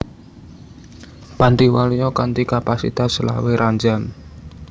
Panti Waluya kanthi kapasitas selawe ranjam